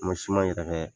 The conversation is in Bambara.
N ma siman yɛrɛ kɛ